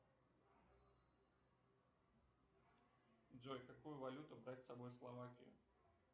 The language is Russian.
джой какую валюту брать с собой в словакию